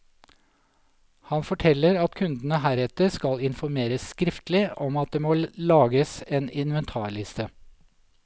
Han forteller at kundene heretter skal informeres skriftlig om at det må lages en inventarliste.